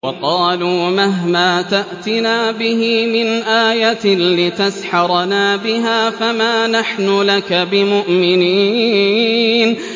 وَقَالُوا مَهْمَا تَأْتِنَا بِهِ مِنْ آيَةٍ لِّتَسْحَرَنَا بِهَا فَمَا نَحْنُ لَكَ بِمُؤْمِنِينَ